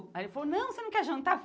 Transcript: Aí ele falou, não, você não quer jantar?